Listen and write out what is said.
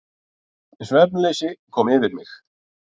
Svefnleysi kom yfir mig.